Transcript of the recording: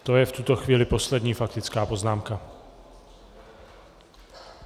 To je v tuto chvíli poslední faktická poznámka.